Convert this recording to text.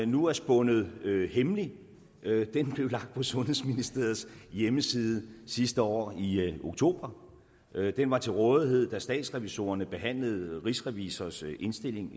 nu er spundet hemmelig blev lagt på sundhedsministeriet hjemmeside sidste år i oktober den var til rådighed da statsrevisorerne behandlede rigsrevisors indstilling